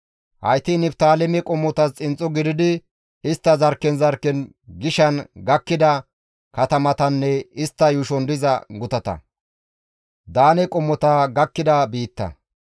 Hayti Niftaaleme qommotas xinxxo gididi istta zarkken zarkken gishan gakkida katamatanne istta yuushon diza gutata.